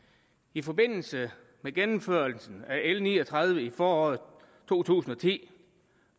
i forbindelse med gennemførelsen af l ni og tredive i foråret to tusind og ti